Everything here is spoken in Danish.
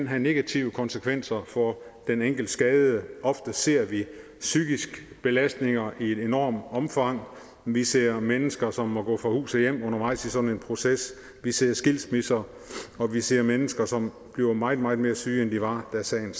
have negative konsekvenser for den enkelte skadede ofte ser vi psykiske belastninger i et enormt omfang vi ser mennesker som må gå fra hus og hjem undervejs i sådan en proces vi ser skilsmisser og vi ser mennesker som bliver meget meget mere syge end de var da sagen